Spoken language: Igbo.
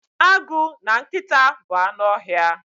Agụ na nkịta bụ anụ ọhịa.